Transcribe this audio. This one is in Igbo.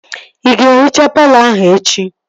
Ị ga-ehichaa palọ ahụ echi?